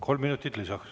Kolm minutit lisaks.